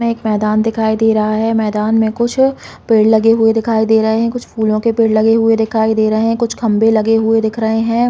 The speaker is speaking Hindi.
में एक मैदान दिखाई दे रहा हैं मैदान में कुछ पेड़ लगे हुए दिखाई दे रहे हैं कुछ फूलो के पेड़ लगे हुए दिखाई दे रहे हैं कुछ खम्बे लगे हुए दिख रहे हैं।